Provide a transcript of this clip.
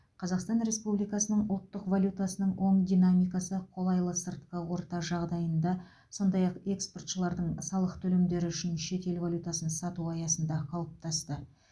қазақстан республикасының ұлттық валютасының оң динамикасы қолайлы сыртқы орта жағдайында сондай ақ экспортшылардың салық төлемдері үшін шетел валютасын сатуы аясында қалыптасты